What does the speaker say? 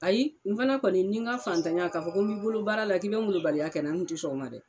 Ayi n fana kɔni ni ŋa fantanya k'a fɔ ko n b'i bolo baara la k'i be molobaliya kɛ na n te sɔn o ma dɛ.